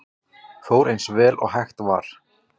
Fór eins vel og hægt var